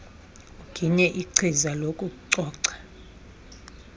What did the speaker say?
uginye ichiza lokucoca